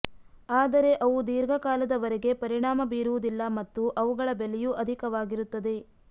ಆದರೆ ಅವು ದೀರ್ಘಕಾಲದವರೆಗೆ ಪರಿಣಾಮ ಬೀರುವುದಿಲ್ಲ ಮತ್ತು ಅವುಗಳ ಬೆಲೆಯೂ ಅಧಿಕವಾಗಿರುತ್ತದೆ